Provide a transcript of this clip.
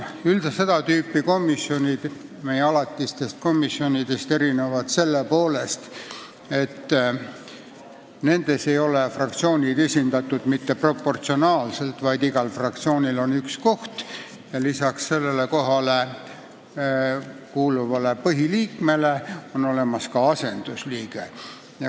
Seda tüüpi komisjonid erinevad alatistest komisjonidest selle poolest, et nendes ei ole fraktsioonid esindatud mitte proportsionaalselt, vaid igal fraktsioonil on üks koht ja peale sellele kohale määratud põhiliikme on olemas ka asendusliige.